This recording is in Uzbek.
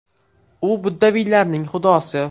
U buddaviylarning xudosi.